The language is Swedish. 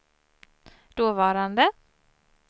dåvarande